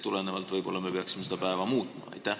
Kui vanast, siis võib-olla peaksime seda kuupäeva muutma?